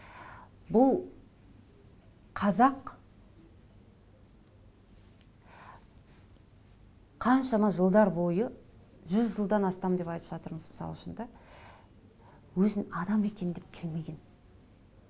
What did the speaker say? бұл қазақ қаншама жылдар бойы жүз жылдан астам деп айтып жатырмыз мысал үшін да өзін адам екен деп келмеген